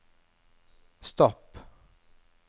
stopp